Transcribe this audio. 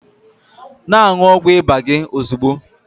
Na-aṅụ ọgwụ ịba gị ozugbo!